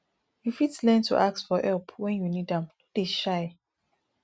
you fit learn to ask for help when you need am no dey shy